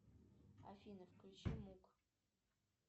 афина включи мук